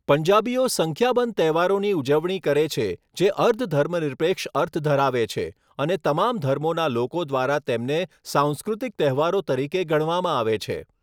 પંજાબીઓ સંખ્યાબંધ તહેવારોની ઉજવણી કરે છે, જે અર્ધ ધર્મનિરપેક્ષ અર્થ ધરાવે છે અને તમામ ધર્મોના લોકો દ્વારા તેમને સાંસ્કૃતિક તહેવારો તરીકે ગણવામાં આવે છે.